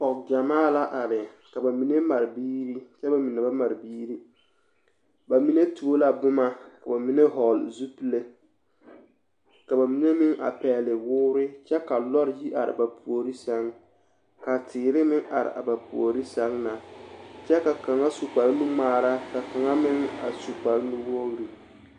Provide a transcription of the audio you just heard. pɔge gyɛmaa la are ka ba mine mare biiri kyɛ ka ba mine ba mare biiri, bamine tuo la boma ka bamine hɔgele zupile ka bamine meŋ a pɛgele woore kyɛ ka lɔre yi are ba puori sɛŋ ka teere meŋ are a ba puori sɛŋ na kyɛ ka kaŋa su kpare nu ŋmaara ka kaŋa meŋ a su kpare nu wogiri.